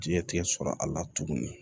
Jiɲɛ tigɛ sɔrɔ a la tugunni